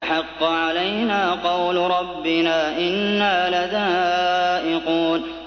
فَحَقَّ عَلَيْنَا قَوْلُ رَبِّنَا ۖ إِنَّا لَذَائِقُونَ